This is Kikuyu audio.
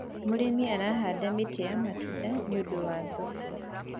mũrĩmi arahanda mĩtĩ ya matunda nĩũndũ wa thoko